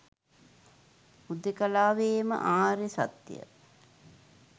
හුදෙකලාවේම ආර්ය සත්‍ය